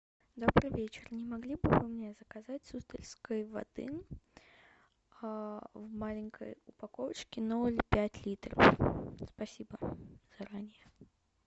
добрый вечер не могли бы вы мне заказать суздальской воды в маленькой упаковочке ноль пять литров спасибо заранее